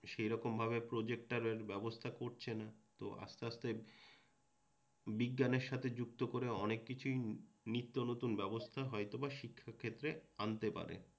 সেই রকম ভাবে প্রোজেক্টরের ব্যবস্থা করছেনা তো আসতে আসতে বিজ্ঞানের সাথে যুক্ত করে অনেককিছুই নিত্যনতুন ব্যবস্থা হয়তোবা শিক্ষার ক্ষেত্রে আনতে পারে।